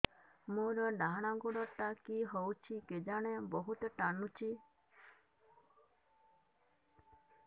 ମୋର୍ ଡାହାଣ୍ ଗୋଡ଼ଟା କି ହଉଚି କେଜାଣେ ବହୁତ୍ ଟାଣୁଛି